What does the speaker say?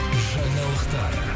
жаңалықтар